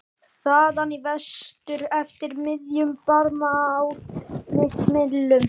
. þaðan í vestur eftir miðjum Barmaál mitt millum?